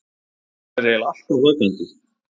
Hún er eiginlega alltaf vakandi.